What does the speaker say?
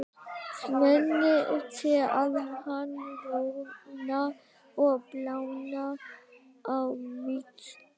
Svenni sér að hann roðnar og blánar á víxl.